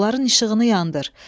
onların işığını yandır.